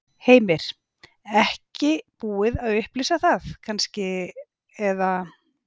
Heimir: Ekki búið að upplýsa það kannski, eða?